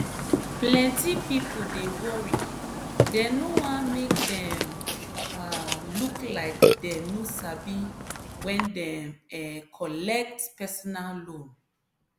plenty people dey worry dem no wan make dem um look like dem no sabi when dem um collect personal loan.